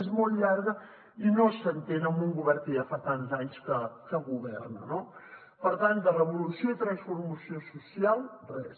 és molt llarg i no s’entén en un govern que ja fa tants anys que governa no per tant de revolució i transformació social res